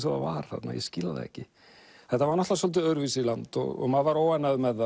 og það var þarna ég skil það ekki þetta var svolítið öðruvísi land og maður var óánægður með